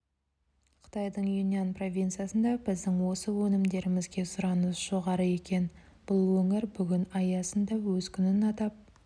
қытайдың юньнань провинциясында біздің осы өнімдерімізге сұраныс жоғары екен бұл өңір бүгін аясында өз күнін атап